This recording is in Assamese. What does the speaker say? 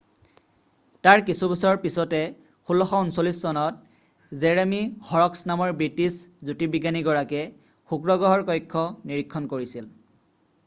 তাৰ কিছুবছৰ পিছতে 1639 চনত জেৰেমি হৰক্স নামৰ ব্ৰিটিছ জ্যোতিৰ্বিজ্ঞানী গৰাকীয়ে শুক্ৰ গ্ৰহৰ কক্ষ নিৰীক্ষণ কৰিছিল